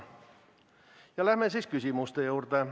Ja läheme siis küsimuste juurde.